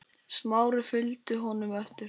Smári fylgdi honum eftir.